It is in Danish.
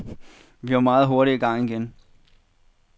Vi var meget hurtigt i gang igen.